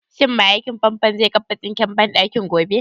Shin mai aikin fanfon zai kafa sinkin banɗakin gobe?